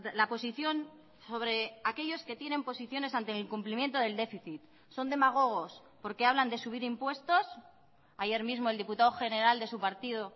la posición sobre aquellos que tienen posiciones ante el incumplimiento del déficit son demagogos porque hablan de subir impuestos ayer mismo el diputado general de su partido